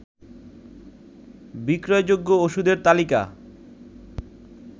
বিক্রয়যোগ্য ওষুধের তালিকা